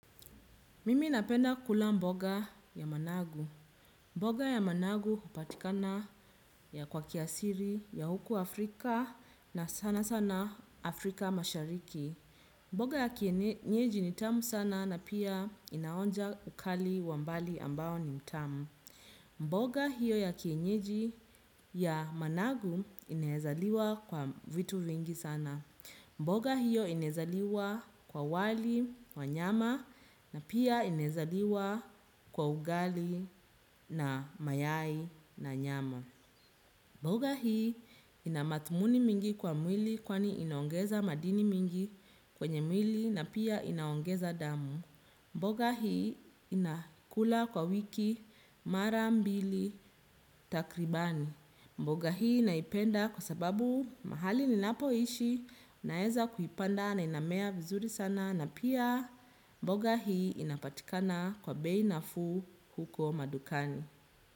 Mimi napenda kula mboga ya managu. Mboga ya managu upatikana ya kwa kiasiri ya huku Afrika na sana sana Afrika mashariki. Mboga ya kienyeji ni tamu sana na pia inaonja ukali wa mbali ambao ni mtamu. Mboga hiyo ya kienyeji ya managu inaeza liwa kwa vitu vingi sana. Mboga hiyo inaeza liwa kwa wali, kwa nyama na pia inaeza liwa kwa ugali na mayai na nyama. Mboga hiyo ina matumuni mingi kwa mwili kwani inaongeza madini mingi kwenye mwili na pia inaongeza damu. Mboga hii nina kula kwa wiki mara mbili takribani. Mboga hii naipenda kwa sababu mahali ninapoishi naeza kuipanda na inamea vizuri sana na pia mboga hii inapatikana kwa bei nafuu huko madukani.